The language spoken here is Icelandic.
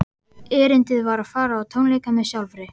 Erindið var að fara á tónleika með sjálfri